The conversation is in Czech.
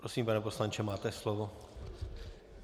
Prosím, pane poslanče, máte slovo.